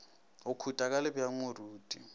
go khuta ka lebjang moruti